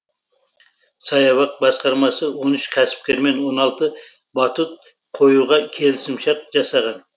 саябақ басқармасы он үш кәсіпкермен он алты батут қоюға келісімшарт жасаған